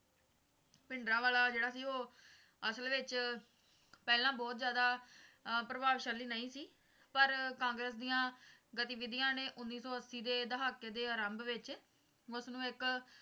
ਭਿੰਡਰਾਂਵਾਲਾ ਜਿਹੜਾ ਸੀ ਉਹ ਅਸਲ ਵਿੱਚ ਪਹਿਲਾਂ ਬਹੁਤ ਜਿਆਦਾ ਅਹ ਪ੍ਰਭਾਵਸ਼ਾਲੀ ਨਹੀਂ ਸੀ ਪਰ ਕਾਂਗਰਸ ਦੀਆਂ ਗਤੀਵਿਧੀਆਂ ਨੇ ਉੱਨੀ ਸੌ ਅੱਸੀ ਦੇ ਦਹਾਕੇ ਦੇ ਆਰੰਭ ਵਿੱਚ ਉਸਨੂੰ ਇੱਕ